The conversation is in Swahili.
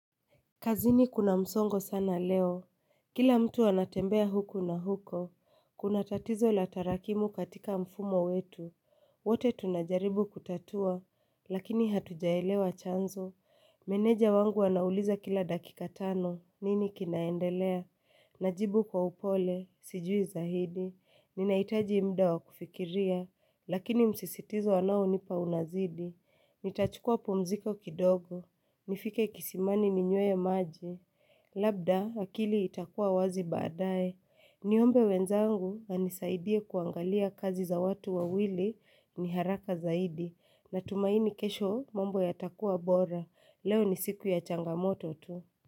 Kazini kuna msongo sana leo. Kila mtu anatembea huku na huko. Kuna tatizo la tarakimu katika mfumo wetu. Wote tunajaribu kutatua, lakini hatujaelewa chanzo. Meneja wangu anauliza kila dakika tano, nini kinaendelea, najibu kwa upole, sijui zaidi, ninahitaji mda wa kufikiria, lakini msisitizo wanaonipa unazidi, nitachukua pumziko kidogo, nifike kisimani ninywe maji, labda akili itakua wazi baadae, niombe wenzangu wanisaidie kuangalia kazi za watu wawili ni haraka zaidi, natumaini kesho mambo yatakua bora. Leo ni siku ya changamoto tu.